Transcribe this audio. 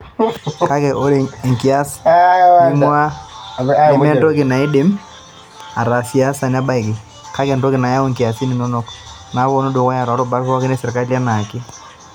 Kake, ore enkias ningua nementoki neidim atasiasa neibaiki, kake entoki nayau nkiasin inonok napoito dukuya too rubat pooki e sirkali enaake.